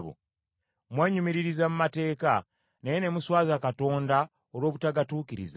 Mwenyumiririza mu mateeka, naye ne muswaza Katonda olw’obutagatuukiriza.